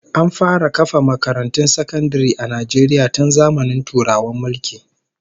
An fara kafa makarantun sakandare a Najeriya tun zamanin Turawan mulki